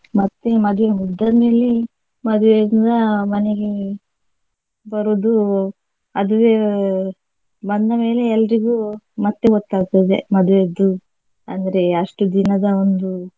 ಮತ್ತೆ ಮದ್ವೆ ಮುಗ್ದಾದ್ಮೇಲೆ ಮದ್ವೆಯಿಂದ ಮನೆಗೆ ಬರುದು ಅದುವೇ ಬಂದ ಮೇಲೆ ಎಲ್ರಿಗು ಮತ್ತೆ ಗೊತ್ತಾಗ್ತದೆ ಮದ್ವೆದ್ದು ಅಂದ್ರೆ ಅಷ್ಟು ದಿನದ ಒಂದು.